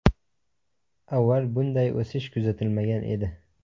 Avval bunday o‘sish kuzatilmagan edi.